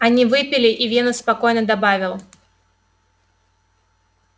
они выпили и венус спокойно добавил